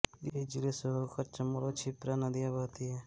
इस जिले से होकर चम्बल और क्षिप्रा नदियां बहती हैं